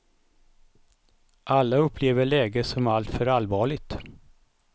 Alla upplever läget som alltför allvarligt.